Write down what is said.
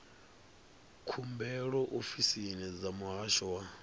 khumbelo ofisini dza muhasho wa